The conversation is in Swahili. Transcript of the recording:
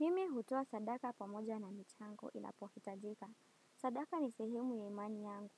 Mimi hutoa sadaka pamoja na michango inapohitajika. Sadaka ni sehimu ya imani yangu